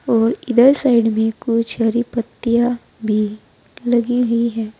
और इधर साइड में कुछ हरी पत्तियां भी लगी हुई है।